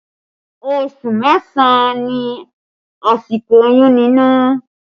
Oṣù mẹ́sàn ni àsìkò oyún nínú